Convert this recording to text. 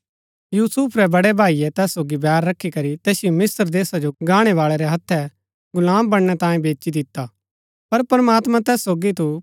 यूसुफ रै बड़ै भाईये तैस सोगी बैर रखी करी तैसिओ मिस्त्र देशा जो गाणैवाळै रै हत्थै गुलाम बनणै तांये बेची दिता पर प्रमात्मां तैस सोगी थू